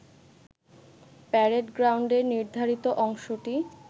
parade গ্রাউন্ডের নির্ধারিত অংশটি